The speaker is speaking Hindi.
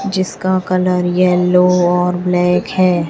जिसका कलर येलो और ब्लैक है।